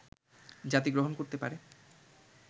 জাতি গ্রহণ করতে পারে